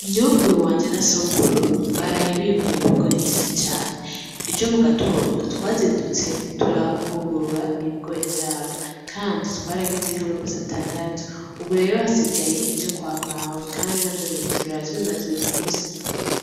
Nyokuruwanje na sokuru baraye bimbuye ibigori vyishi cane ejo mu gatondo twazindutse turahungurura ibigori vyabo kandi twaragize nkama base atandatu ubu rero hasigaye ivyo kwa mawe kandi navyo nyene turara tubimaze uyu musi.